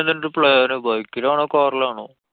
എന്താ plan ന്? bike ലാണോ? car ലാണോ?